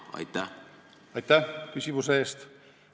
Aitäh küsimuse eest!